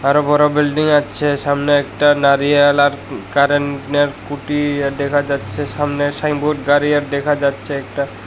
আরো বড় বিল্ডিং আচ্ছে সামনে একটা নারিয়াল আর ক-কারেনের কুটি ডেখা যাচ্ছে সামনে সাইনবোর্ড গাড়ি আর ডেখা যাচ্ছে একটা--